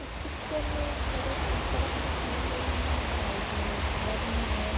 इस पिक्चर में एक सरेक सड़क दिखाई गयी है। साइड में एक घर है।